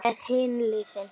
Hvað með hin liðin?